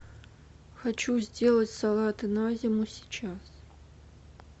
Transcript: хочу сделать салаты на зиму сейчас